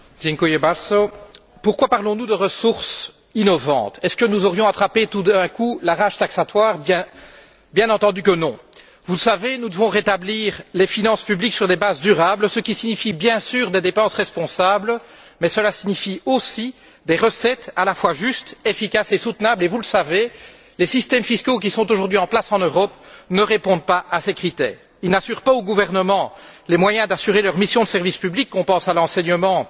Monsieur le Président, pourquoi parlons nous de ressources innovantes? Aurions nous attrapé, tout à coup, la rage taxatoire? Bien entendu que non! Vous le savez, nous devons rétablir les finances publiques sur des bases durables, ce qui signifie bien sûr des dépenses responsables, mais cela signifie aussi des recettes à la fois justes, efficaces et soutenables et, vous le savez, les systèmes fiscaux qui sont aujourd'hui en place en Europe ne répondent pas à ces critères. Ils ne garantissent pas aux gouvernements les moyens d'assurer leurs missions de service public on pense à l'enseignement,